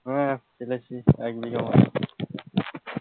হ্যাঁ ঢেলেছি এক বিঘা মত,